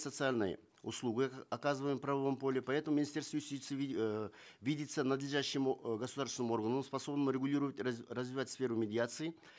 социальные услуги оказываемые в правовом поле поэтому министерство юстиции э видится надлежащим э государственным органом способным регулировать развивать сферу медиации